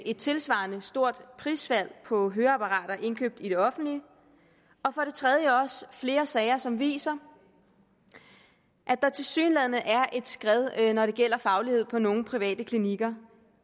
et tilsvarende stort prisfald på høreapparater indkøbt i det offentlige og for det tredje flere sager som viste at der tilsyneladende er et skred når det gælder faglighed på nogle private klinikker